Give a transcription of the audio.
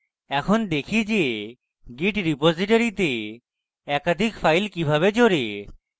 এখন দেখি যে git repository তে একাধিক files কিভাবে জোড়ে